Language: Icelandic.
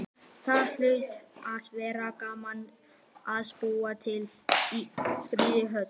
Það hlaut að vera gaman að búa í slíkri höll.